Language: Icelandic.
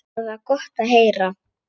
Það var gott að heyra.